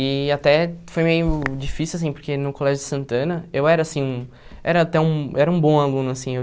E até foi meio difícil assim, porque no colégio de Santana eu era assim um era até um era um bom aluno assim. Eu